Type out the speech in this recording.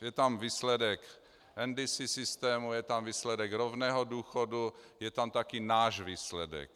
Je tam výsledek NDC systému, je tam výsledek rovného důchodu, je tam také náš výsledek.